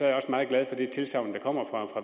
jeg også meget glad for det tilsagn der kommer fra